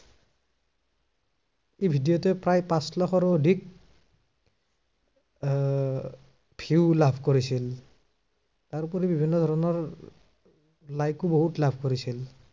এই video টোৱে প্ৰায় পাঁচ লাখৰো অধিক আহ view লাভ কৰিছিল। তাৰোপৰি বিভিন্ন ধৰণৰ like ও বহুত লাভ কৰিছিল।